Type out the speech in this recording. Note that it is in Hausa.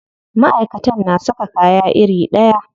Maʼaikatan na saka kaya iri ɗaya.